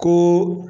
Ko